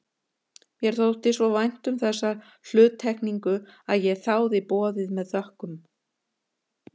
Mér þótti svo vænt um þessa hluttekningu að ég þáði boðið með þökkum.